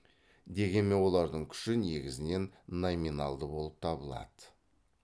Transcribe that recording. дегенмен олардың күші негізінен номиналды болып табылады